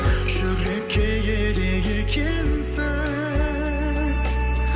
жүрекке керек екенсің